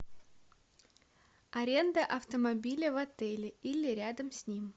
аренда автомобиля в отеле или рядом с ним